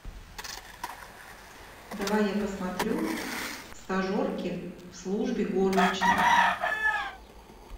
давай я посмотрю стажерки в службе горничных